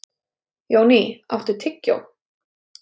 Jóný, áttu tyggjó?